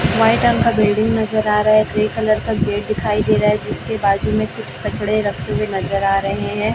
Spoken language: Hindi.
व्हाइट रंग का बिल्डिंग नज़र आ रहा है ग्रे कलर का गेट दिखाई दे रहा है जिसके बाजू में कुछ कचड़े रखे हुए नज़र आ रहे हैं।